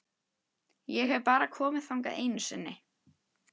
Ég hef bara komið þangað einu sinni.